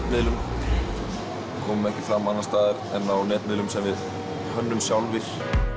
komum ekki fram annars staðar en á netmiðlum sem við hönnum sjálfir